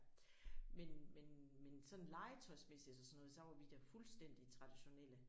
Men men men sådan legetøjsmæssigt og sådan noget så var vi da fuldstændig traditionelle